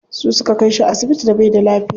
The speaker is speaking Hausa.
Su suka kai shi asibiti da baida lafiya.